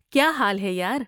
کیا حال ہے، یار؟